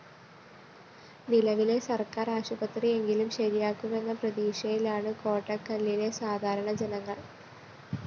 നിലവിലെ സര്‍ക്കാര്‍ ആശുപത്രിയെങ്കിലും ശരിയാക്കുമെന്ന പ്രതീക്ഷയിലാണ് കോട്ടക്കലിലെ സാധാരണ ജനങ്ങള്‍